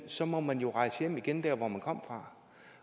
så må man jo rejse hjem igen til dér hvor man kom fra